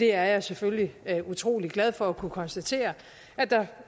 er selvfølgelig utrolig glad for at kunne konstatere